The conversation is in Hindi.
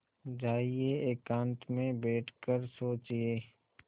जाइए एकांत में बैठ कर सोचिए